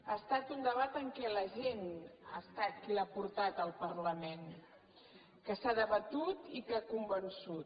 ha estat un debat en què la gent ha estat qui l’ha portat al parlament que s’ha debatut i que ha convençut